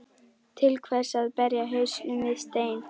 Til hvers að berja hausnum við stein?